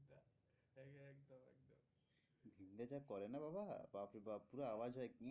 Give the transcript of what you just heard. দা যা করে না বাবা বাপরে বাপ পুরো আওয়াজ হয়